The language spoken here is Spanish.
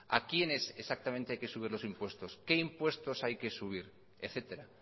a quienes exactamente hay que subir los impuestos qué impuestos hay que subir etcétera